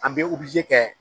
An bɛ kɛ